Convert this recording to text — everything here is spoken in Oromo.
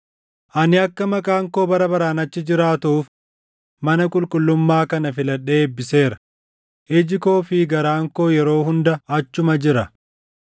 Ani akka Maqaan koo bara baraan achi jiraatuuf mana qulqullummaa kana filadhee eebbiseera. Iji koo fi garaan koo yeroo hunda achuma jira.